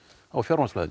á